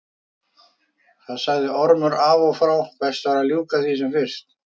Það sagði Ormur af og frá, best væri að ljúka því af sem fyrst.